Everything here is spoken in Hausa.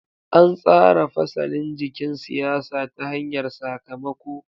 An tsara fasalin jikin siyasa ta hanyar sakamako.